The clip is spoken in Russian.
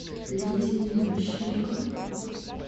лидии мищенко